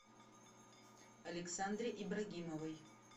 александре ибрагимовой